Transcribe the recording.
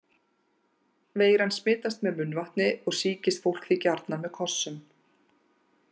Veiran smitast með munnvatni og sýkist fólk því gjarnan með kossum.